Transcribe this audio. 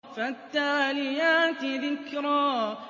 فَالتَّالِيَاتِ ذِكْرًا